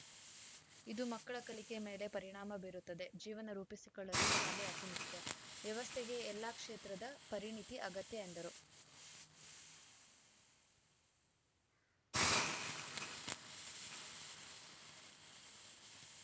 ಇದು ಮಕ್ಕಳ ಕಲಿಕೆ ಮೇಲೆ ಪರಿಣಾಮ ಬೀರುತ್ತದೆ ಜೀವನ ರೂಪಿಸಿಕೊಳ್ಳಲು ಶಾಲೆ ಅತಿ ಮುಖ್ಯ ವ್ಯವಸ್ಥೆಗೆ ಎಲ್ಲ ಕ್ಷೇತ್ರದ ಪರಿಣಿತಿ ಅಗತ್ಯ ಎಂದರು